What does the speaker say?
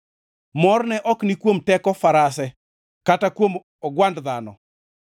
Morne ok ni kuom teko farase kata kuom ogwand dhano;